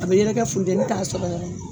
A bɛ yɛrɛkɛ funteni t'a sɔrɔ yɔrɔ min